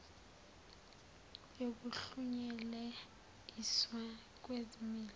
yokuhlunyelel iswa kwezimilo